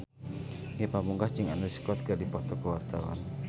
Ge Pamungkas jeung Andrew Scott keur dipoto ku wartawan